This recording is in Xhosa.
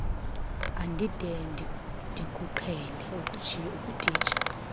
andide ndikuqhele ukutitsha